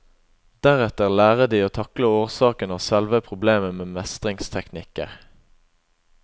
Deretter lærer de å takle årsaken og selve problemet med mestringsteknikker.